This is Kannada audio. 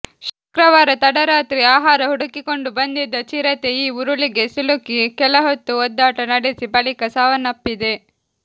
ಶುಕ್ರವಾರ ತಡರಾತ್ರಿ ಆಹಾರ ಹುಡುಕಿಕೊಂಡು ಬಂದಿದ್ದ ಚಿರತೆ ಈ ಉರುಳಿಗೆ ಸಿಲುಕಿ ಕೆಲಹೊತ್ತು ಒದ್ದಾಟ ನಡೆಸಿ ಬಳಿಕ ಸಾವನ್ನಪ್ಪಿದೆ